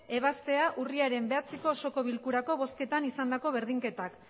ebaztea urriaren bederatziko osoko bilkurako bozketan izandako berdinketak